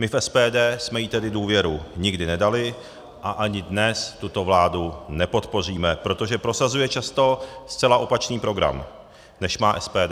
My v SPD jsme jí tedy důvěru nikdy nedali a ani dnes tuto vládu nepodpoříme, protože prosazuje často zcela opačný program, než má SPD.